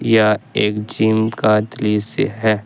यह एक जिम का दृश्य है।